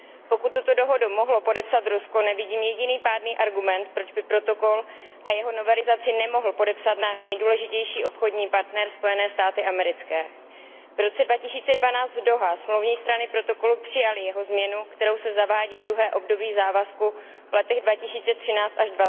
Pokud tuto dohodu mohlo podepsat Rusko, nevidím jediný pádný argument, proč by protokol a jeho novelizaci nemohl podepsat náš nejdůležitější obchodní partner, Spojené státy americké. V roce 2012 v Dauhá smluvní strany protokolu přijaly jeho změnu, kterou se zavádí druhé období závazků v letech 2013 až